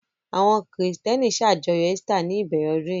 Àwọn Kìrìtẹ́ẹ́nì ṣàjọyọ̀ Easter ní ìbẹ̀rẹ̀ ọdún yìí.